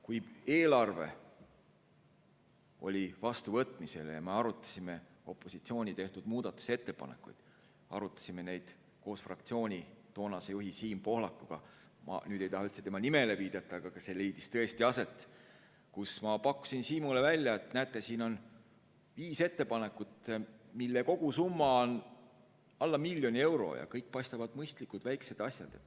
Kui eelarve oli vastuvõtmisel ja me arutasime opositsiooni tehtud muudatusettepanekuid, me arutasime neid koos fraktsiooni toonase juhi Siim Pohlakuga – ma ei taha üldse tema nimele viidata, aga see leidis tõesti aset –, siis ma pakkusin Siimule välja, et näete, siin on viis ettepanekut, mille kogusumma on alla miljoni euro, ja kõik paistavad olevat mõistlikud väikesed asjad.